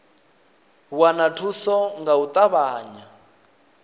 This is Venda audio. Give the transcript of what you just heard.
wana thuso nga u ṱavhanya